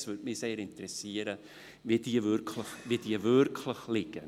Es würde mich sehr interessieren, wo sie wirklich liegen.